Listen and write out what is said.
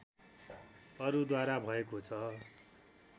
अरूद्वारा भएको छ